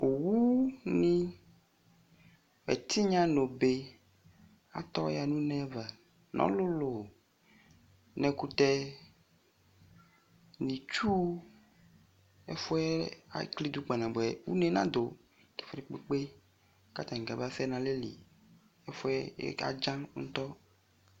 Owunɩ ɛtɩnya nʋ obe atɔya nʋ une ava nʋ ɔlʋlʋ nʋ ɛkʋtɛ nʋ itsu, ɛfʋ yɛ eklidu kpanabʋɛ, une nadʋ ɛfʋ dɩ kpekpe kʋ atanɩ kamasɛ nʋ alɛli Ɛfʋ yɛ adzan ŋtɔ